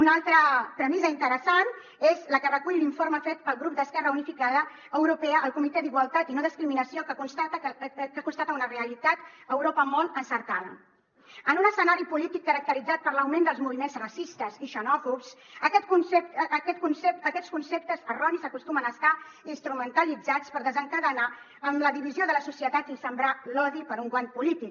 una altra premissa interessant és la que recull l’informe fet pel grup d’esquerra unificada europea al comitè d’igualtat i no discriminació que constata una realitat a europa molt encertada en un escenari polític caracteritzat per l’augment dels moviments racistes i xenòfobs aquests conceptes erronis acostumen a estar instrumentalitzats per desencadenar la divisió de la societat i sembrar l’odi per un guany polític